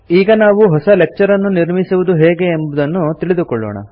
ಈಗ ನಾವು ಹೊಸ ಲೆಕ್ಚರ್ ಅನ್ನು ನಿರ್ಮಿಸುವುದು ಹೇಗೆ ಎಂಬುದನ್ನು ತಿಳಿದುಕೊಳ್ಳೋಣ